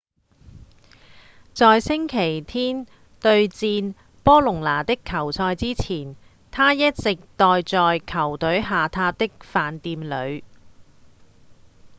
在星期天對戰波隆那的球賽之前他一直待在球隊下榻的飯店裡